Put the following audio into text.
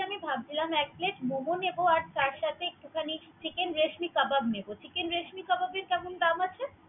আজকে ভাবছিলাম এক Plate মোমো নিবো তার সাথে একটু খানি Chicken রেশমি কাবাব নিবো। Chicken রেশমি কাবাবের কেমন দাম আছে।